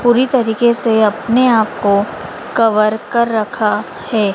पूरी तरीके से अपने आप को कवर कर रखा है।